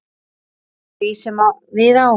eftir því sem við á.